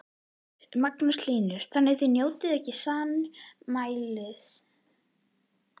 Magnús Hlynur: Þannig að þið njótið ekki sannmælis?